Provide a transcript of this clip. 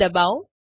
જી ડબાઓ